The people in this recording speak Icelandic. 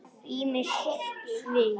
Ýmis svið.